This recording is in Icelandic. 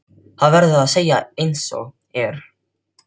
Það verður að segjast einsog er.